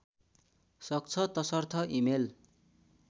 सक्छ तसर्थ इमेल